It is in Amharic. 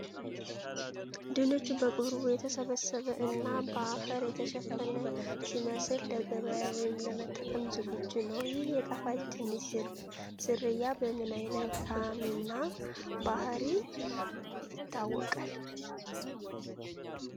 ድንቹ በቅርቡ የተሰበሰበ እና በአፈር የተሸፈነ ሲመስል፣ ለገበያ ወይም ለመጠቀም ዝግጁ ነው። ይህ የጣፋጭ ድንች ዝርያ በምን ዓይነት ጣዕም እና ባህሪ ይታወቃል?